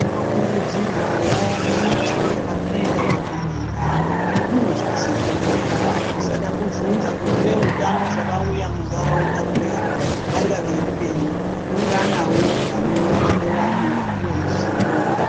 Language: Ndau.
Tinokurudzirwawo kuti panoenda vamwe endawo unozvizwira wega, usada kubvunza kuti veutano zvavauya muntaraunda mwedu vanga veidei, unganawo panoungana vamwe upuwe ruzivo.